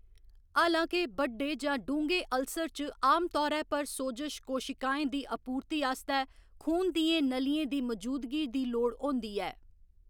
हालां के, बड्डे जां डूंह्गे‌ अल्सर च आमतौरै पर सोजश कोशिकाएं दी आपूर्ति आस्तै खून दियें नलियें दी मजूदगी दी लोड़ होंदी ऐ।